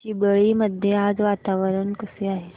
चिंबळी मध्ये आज वातावरण कसे आहे